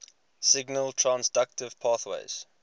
signal transduction pathways